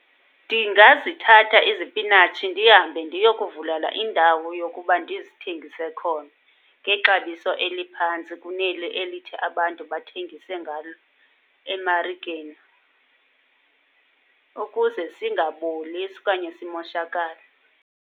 Ndingazithatha izipinatshi ndihambe ndiyokuvulela indawo yokuba ndizithengise khona ngexabiso eliphantsi kuneli elithi abantu bathengise ngalo emarikeni, ukuze singaboli okanye simoshakale.